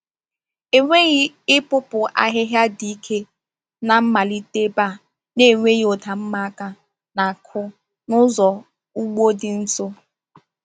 Enweghị ịpụpụ ahịhịa dị ike na-amalite ebe a na-enweghị ụda mma aka na-akụ n’ụzọ ugbo dị nso.